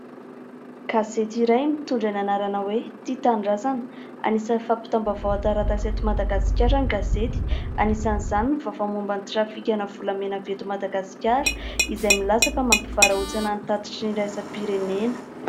Gazety iray mitondra ny anarana hoe " tia tanindrazana " anisany fampitam-baovao an-taratasy eto Madagasikara ny gazety. Anisan'izany ny vaovao momban'ny trafika ana volamena avy eto Madagasikara izay milaza fa mampivarahontsana ny tatitry ny iraisam-pirenena.